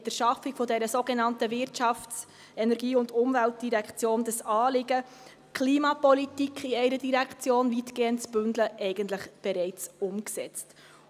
Mit der Schaffung der sogenannten «Wirtschafts-, Energie- und Umweltdirektion» haben wir das Anliegen, die Klimapolitik weitgehend in einer Direktion zu bündeln, eigentlich bereits umgesetzt.